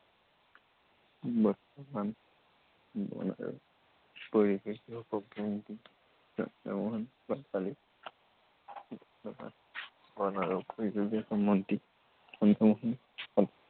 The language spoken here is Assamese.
বৰ্তমান বন আৰু পৰিৱেশ বিভাগৰ মন্ত্ৰী চন্দ্ৰমোহন পাটোৱাৰী। বৰ্তমান বন আৰু পৰিৱেশ বিভাগৰ মন্ত্ৰী চন্দ্ৰমোহন পাটোৱাৰী।